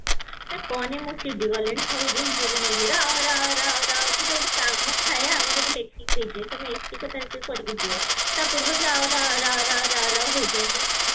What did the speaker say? ନା କହନି ମୁଁ ଚିଡି ଗଲିଣି ସବୁ ଦିନ ରା ରା ରା ରାଉ ଗୋଟେ ଗୋଟେ କାମ ଥାଏ ଆମେ ଗୋଟେ ଲେଖିକି ଦେଇଦିଏ ତମେ ଏତିକି ତାରିଖ ରେ କରିକି ଦିଅ ତାପୂର୍ବରୁ ରା ରା ରାଉ ରାଉ ରାଉ ରାଉ ହଉଛନ୍ତି ଯେ ମାନେ